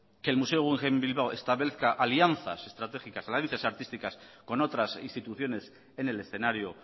que el museo guggenheim bilbao establezca alianzas estratégicas alianzas artísticas con otras instituciones en el escenario